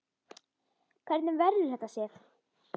Hvernig verður þetta, Sif?